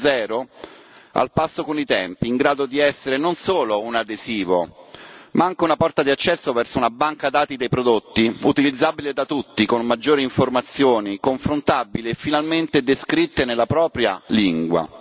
2.0, al passo con i tempi, in grado di essere non solo un adesivo, ma anche una porta di accesso verso una banca dati dei prodotti, utilizzabile da tutti, con maggiori informazioni, confrontabili e finalmente descritte nella propria lingua.